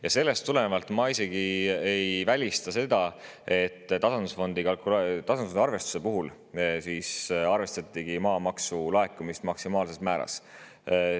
Ja sellest tulenevalt ma isegi ei välista seda, et tasandusfondi arvestuse puhul arvestatigi maamaksu laekumist maksimaalses määras.